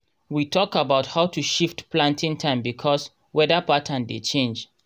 we tok about how to shift planting time bkos weda pattern dey change